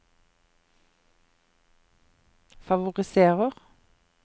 favoriserer